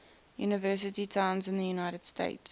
university towns in the united states